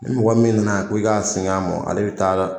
Ni mɔgɔ min nana ko i ka singɛ a mɔ, ale be taa